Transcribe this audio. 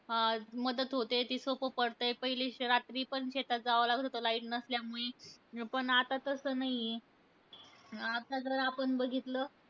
अं मदत होते. ते सोपं पडतंय. पहिले श रात्री पण शेतात जावं लागत होतं light नसल्यामुळे. पण आता तसं नाहीय. आता जर आपण बघितलं,